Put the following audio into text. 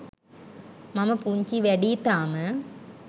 මම පුංචි වැඩියි තාම.